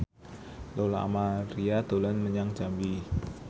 Lola Amaria dolan menyang Jambi